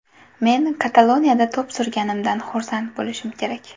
Men Kataloniyada to‘p surganimdan xursand bo‘lishim kerak.